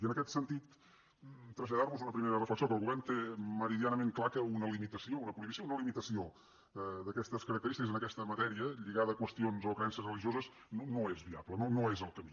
i en aquest sentit traslladar los una primera reflexió que el govern té meridianament clar que una limitació una prohibició una limitació d’aquestes característiques en aquesta matèria lligada a qüestions o creences religioses no és viable no és el camí